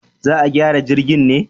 Za a gyara jirgin ne?